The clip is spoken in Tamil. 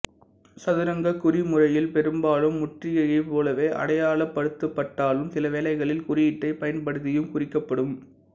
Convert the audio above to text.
சதுரங்கக் குறிமுறையில் பெரும்பாலும் முற்றுகையைப் போலவே அடையாளப்படுத்தப்பட்டாலும் சிலவேளைகளில் குறியீட்டைப் பயன்படுத்தியும் குறிக்கப்படும்